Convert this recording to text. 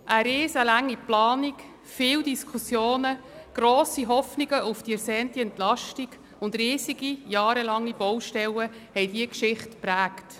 Eine enorm lange Planung, viele Diskussionen, grosse Hoffnung auf die ersehnte Entlastung und riesige, jahrelange Baustellen haben die Geschichte geprägt.